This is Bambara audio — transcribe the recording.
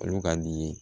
Olu ka di